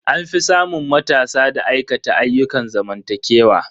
An fi samun matasa da aikata ayyukan zamantakewa.